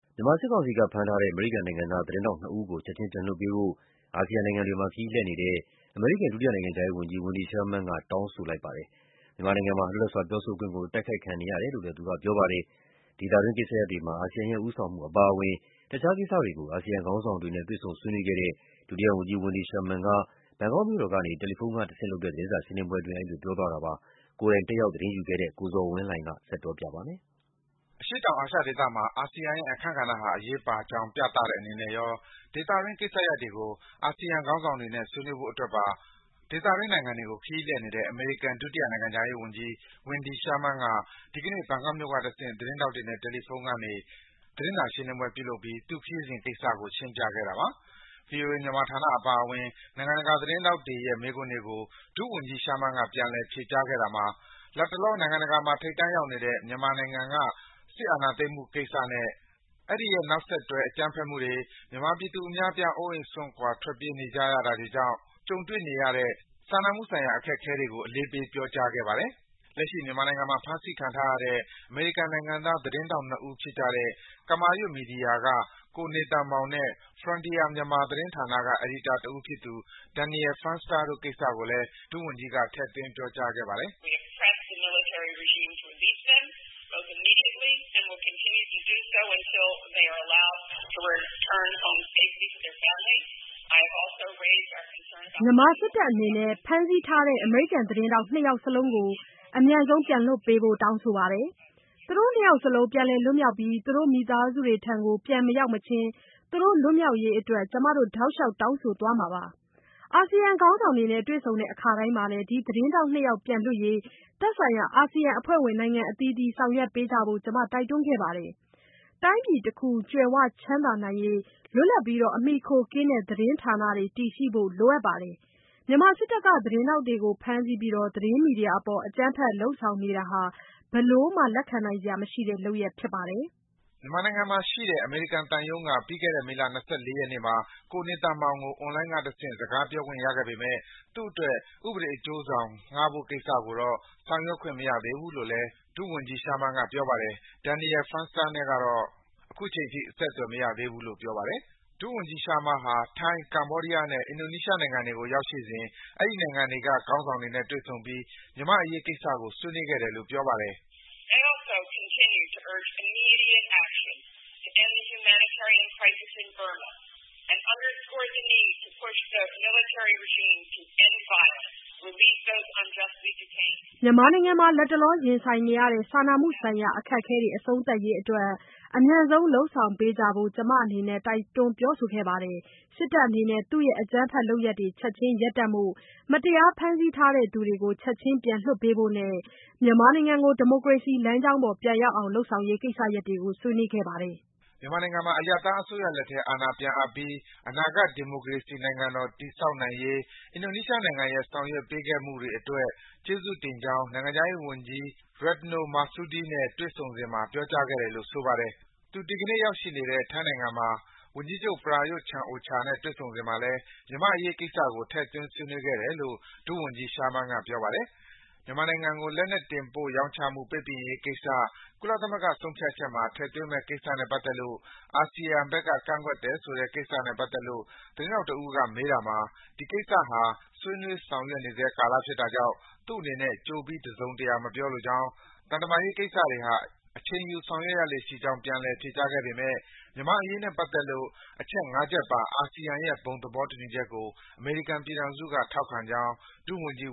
မြန်မာ စစ်ကောင်စီက ဖမ်းဆီးထားတဲ့ အမေရိကန်နိုင်ငံသား သတင်းထောက် ၂ ဦးကို ချက်ခြင်း ပြန်လွှတ်ပေးဖို့ အာဆီယံနိုင်ငံတွေကို ခရီးလှည့်နေတဲ့ အမေရိကန် ဒုတိယနိုင်ငံခြားရေးဝန်ကြီး Wendy Sherman က တောင်းဆိုလိုက်ပြီး မြန်မာနိုင်ငံမှာ လွတ်လပ်စွာ ပြောဆိုခွင့်ဟာ တိုက်ခိုက်ခံနေရတယ်လို့ ပြောကြားလိုက်ပါတယ်။ ဒေသတွင်း ကိစ္စရပ်တွေမှာ အာဆီယံရဲ့ ဦးဆောင်မှု အပါအဝင် တခြားကိစ္စရပ်တွေကို အာဆီယံခေါင်းဆောင်တွေနဲ့ တွေ့ဆုံ ဆွေးနွေးခဲ့တဲ့ ဒုတိယဝန်ကြီး Wendy Sherman က ဘန်ကောက်မြို့ကို ရောက်နေစဉ် တယ်လီဖုန်းကတဆင့် သတင်းစာရှင်းလင်းပွဲ ပြုလုပ်စဉ် အဲဒီလို ပြောကြားလိုက်တာပါ။ ဒီကနေ့ ကျင်းပတဲ့ သတင်းစာရှင်းလင်းပွဲကို တယ်လီဖုန်းကတဆင့် တက်ရောက် သတင်းယူခဲ့တဲ့ ကိုဇော်ဝင်းလှိုင်က တင်ပြပေးထားပါတယ်။ အရှေ့တောင်အာရှဒေသမှာ အာဆီယံရဲ့ အခန်းကဏ္ဍဟာ အရေးပါကြောင်း ပြသတဲ့အနေနဲ့ရော ဒေသတွင်းကိစ္စရပ်တွေကို အာဆီယံ ခေါင်းဆောင်တွေနဲ့ ဆွေးနွေးဖို့တို့အတွက်ပါ ဒေသတွင်းနိုင်ငံတွေကို ခရီးလှည့်နေတဲ့ အမေရိကန် ဒုတိယနိုင်ငံခြားရေးဝန်ကြီး Wendy Sherman က ဒီကနေ့ ဘန်ကောက်မြို့က တဆင့် သတင်းထောက်တွေနဲ့ တယ်လီဖုန်းကနေ သတင်းစာရှင်းလင်းပွဲ ပြုလုပ်ပြီး သူ့ခရီးစဉ်ကိစ္စကို ရှင်းပြခဲ့တာပါ။ ဗွီအိုအေ မြန်မာဌာနအပါအဝင် နိုင်ငံတကာသတင်းထောက်တွေရဲ့ မေးခွန်းတွေကို ဒုဝန်ကြီး Sherman က ပြန်လည် ဖြေကြားခဲ့တာမှာ လတ်တလော နိုင်ငံတကာမှာ ထိပ်တန်းရောက်နေတဲ့ မြန်မာနိုင်ငံက စစ်အာဏာသိမ်းမှုကိစ္စနဲ့ အဲဒီရဲ့ နောက်ဆက်တွဲ အကြမ်းဖက်မှုတွေ၊ မြန်မာပြည်သူ အများအပြား အိုးအိမ်စွန့်ခွာ ထွက်ပြေးနေကြရတာကြောင့် ကြုံတွေ့နေရတဲ့ စာနာမှုဆိုင်ရာ အခက်အခဲတွေကို အလေးပေး ပြောကြားခဲ့ပါတယ်။ လက်ရှိ မြန်မာနိုင်ငံမှာ ဖမ်းဆီးခံထားရတဲ့ အမေရိကန်နိုင်ငံသားသတင်းထောက် ၂ ဦးဖြစ်ကြတဲ့ ကမာရွတ်မီဒီယာက နေသန်မောင်နဲ့ Frontier Myanmar သတင်းဌာနက အယ်ဒီတာတဦးဖြစ်သူ Daniel Fenster တို့ကိစ္စကိုလည်း ဒုဝန်ကြီးက ထည့်သွင်း ပြောကြားခဲ့ပါတယ်။ “မြန်မာစစ်တပ်အနေနဲ့ ဖမ်းဆီးထားတဲ့ အမေရိကန်သတင်းထောက် ၂ ယောက်စလုံးကို အမြန်ဆုံး ပြန်လွှတ်ပေးဖို့ တောင်းဆိုပါတယ်။ သူတို့ ၂ ယောက်စလုံး ပြန်လည် လွတ်မြောက်ပြီး သူတို့မိသားစုတွေထံ ပြန်မရောက်အချင်း သူတို့လွတ်မြောက်ရေးအတွက် ကျမတို့ တောက်လျှောက် တောင်းဆိုသွားမှာပါ။ အာဆီယံခေါင်းဆောင်တွေနဲ့ တွေ့ဆုံတဲ့အခါမှာလည်း ဒီ သတင်းထောက် ၂ ယောက်ပြန်လွှတ်ရေး သက်ဆိုင်ရာ အာဆီယံအဖွဲ့ဝင်နိုင်ငံအသီးသီး ဆောင်ရွက်ပေးကြဖို့ ကျမ တိုက်တွန်းခဲ့ပါတယ်။ တိုင်းပြည်တခု ကြွယ်ဝချမ်းသာရေးအတွက် လွတ်လပ်ပြီး အမှီအခိုကင်းတဲ့ သတင်းဌာနတွေ တည်ရှိဖို့ လိုအပ်ပါတယ်။ မြန်မာစစ်တပ်က သတင်းထောက်တွေကို ဖမ်းဆီးပြီး သတင်းမီဒီယာအပေါ် အကြမ်းလုပ်ဆောင်နေတာဟာ ဘယ်လိုမှ လက်ခံနိုင်စရာမရှိတဲ့ လုပ်ရပ်ဖြစ်ပါတယ်။” မြန်မာနိုင်ငံမှာရှိတဲ့ အမေရိကန်သံရုံးက ပြီးခဲ့တဲ့ မေလ ၂၄ ရက်နေ့မှာ ကိုနေသန်မောင်ကို အွန်လိုင်းကတဆင့် စကားပြောခွင့်ရခဲ့ပေမယ့် သူ့အတွက် ဥပဒေအကျိုးဆောင် ငှားဖို့ကိစ္စကိုတော့ ဆောင်ရွက်ခွင့်မရသေးဘူးလို့လည်း ဒုဝန်ကြီး Sherman က ပြောပါတယ်။ Daniel Fenster နဲ့တော့ အခုချိန်ထိ အဆက်အသွယ်မရသေးဘူးလို့ ပြောပါတယ်။ ဒုဝန်ကြီး Sherman ဟာ ထိုင်း၊ ကမ္ဘောဒီးယားနဲ့ အင်ဒိုနီးရှားနိုင်ငံတွေကို ရောက်ရှိစဉ် မြန်မာ့အရေးကိစ္စတွေကို အဲဒီနိုင်ငံတွေက ခေါင်းဆောင်တွေနဲ့ တွေ့ဆုံပြီး မြန်မာ့အရေးကိစ္စကို ဆွေးနွေးခဲ့တယ်လို့ ပြောပါတယ်။ “မြန်မာနိုင်ငံမှာ လတ်တလောရင်ဆိုင်နေရတဲ့ စာနာမှုဆိုင်ရာ အခက်အခဲတွေ အဆုံးသတ်ရေးအတွက် အမြန်ဆုံးလုပ်ဆောင်ပေးကြဖို့ ကျမအနေနဲ့ တိုက်တွန်း ပြောဆိုခဲ့သလို စစ်တပ်အနေနဲ့ သူ့ရဲ့ အကြမ်းဖက်လုပ်ရပ်တွေ ချက်ခြင်း ရပ်တန့်ဖို့၊ မတရားဖမ်းဆီးထားသူတွေကို ချက်ခြင်း ပြန်လွှတ်ပေးဖို့နဲ့ မြန်မာနိုင်ငံကို ဒီမိုကရေစီလမ်းကြောင်းပေါ် ပြန်ရောက်အောင် လုပ်ဆောင်ရေး ကိစ္စရပ်တွေကို ဆွေးနွေးခဲ့ပါတယ်။” မြန်မာနိုင်ငံမှာ အရပ်သားအစိုးရလက်ထဲ အာဏာပြန်အပ်ပြီး အနာဂတ် ဒီမိုကရေစီနိုင်ငံတော် တည်ဆောက်နိုင်ရေး အင်ဒိုနီးရှားနိုင်ငံရဲ့ ဆောင်ရွက်ပေးခဲ့မှုတွေအတွက် ကျေးဇူးတင်ကြောင်း နိုင်ငံခြားရေးဝန်ကြီး Ratno Marsudi နဲ့ တွေ့ဆုံစဉ်မှာ ပြောကြားခဲ့တယ်လို့ ဆိုပါတယ်။ သူ ဒီကနေ့ရောက်ရှိနေတဲ့ ထိုင်းနိုင်ငံမှာ ဝန်ကြီးချုပ် Prayut Chan-o-cha နဲ့ တွေ့ဆုံစဉ်မှာလည်း မြန်မာ့အရေးကိစ္စကို ထည့်သွင်း ဆွေးနွေးခဲ့တယ်လို့ ဒုဝန်ကြီး Sherman က ပြောပါတယ်။ မြန်မာနိုင်ငံကို လက်နက် တင်ပို့ရောင်းချမှု ပိတ်ပင်ရေးကိစ္စ ကုလသမဂ္ဂဆုံးဖြတ်ချက်မှာ ထည့်သွင်းမယ့်ကိစ္စနဲ့ ပတ်သက်လို့ အာဆီယံဘက်က ကန့်ကွက်တယ်ဆိုတဲ့ ကိစ္စနဲ့ပတ်သက်လို့ သတင်းထောက်တဦးက မေးတာမှာ ဒီကိစ္စဟာ ဆွေးနွေး ဆောင်ရွက်နေဆဲကာလဖြစ်တာကြောင့် သူ့အနေနဲ့ ကြိုပြီး တစုံတရာ မပြောလိုကြောင်း၊ သံတမန်ရေးကိစ္စတွေဟာ အချိန်ယူ ဆောင်ရွက်ရလေ့ရှိကြောင်း ပြန်လည် ဖြေကြားခဲ့ပေမဲ့ မြန်မာ့အရေးနဲ့ပတ်သက်လို့ အချက် ၅ ချက်ပါ အာဆီယံရဲ့ ဘုံသဘောတူညီချက်ကို အမေရိကန်ပြည်ထောင်စုက ထောက်ခံကြောင်း ဒုဝန်ကြီး